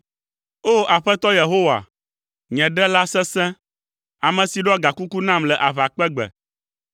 O! Aƒetɔ Yehowa, nye Ɖela sesẽ, ame si ɖɔ gakuku nam le aʋakpegbe.